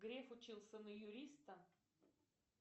греф учился на юриста